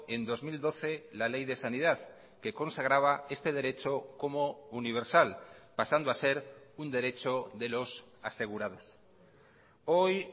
en dos mil doce la ley de sanidad que consagraba este derecho como universal pasando a ser un derecho de los asegurados hoy